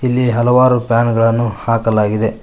ಇಲ್ಲಿ ಹಲವಾರು ಫ್ಯಾನ್ ಗಳನ್ನು ಹಾಕಲಾಗಿದೆ.